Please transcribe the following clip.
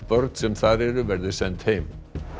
börn sem þar eru verði send heim